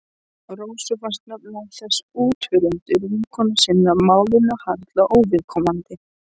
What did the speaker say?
Rósu fannst nefnilega þessi útúrdúr vinkonu sinnar málinu harla óviðkomandi.